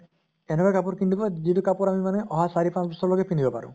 এনেকুৱা কাপোৰ কিনি দিব যিটো কাপোৰ আমি মানে অহা চাৰি পাঁছ বছৰলৈকে পিন্ধিব পাৰো।